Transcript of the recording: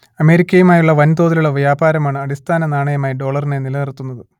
അമേരിക്കയുമായുള്ള വൻതോതിലുള്ള വ്യാപാരമാണ് അടിസ്ഥാന നാണയമായി ഡോളറിനെ നിലനിർത്തുന്നത്